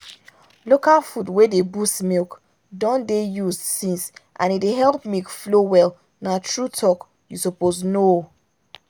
local food wey dey boost milk don dey used since and e dey help milk flow well na true talk you suppose know.